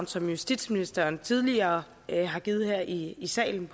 som justitsministeren tidligere har givet her i salen